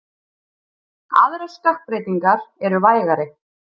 Aðrar stökkbreytingar eru vægari.